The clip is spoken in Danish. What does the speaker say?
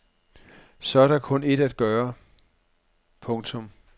Så er der kun ét at gøre. punktum